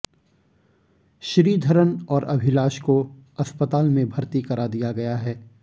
श्रीधरन और अभिलाष को अस्पताल में भर्ती करा दिया गया है